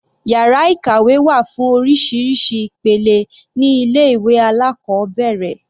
Yàrá ìkàwé wà fún oríṣiríṣi ìpele ní ilé ìwé alákọ̀ọ́bẹ̀rẹ̀.